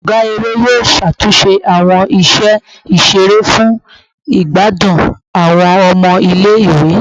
Ọga ere yoo ṣatunṣe awọn iṣẹ iṣere fun igbadun awọn ọmọ ile-iwe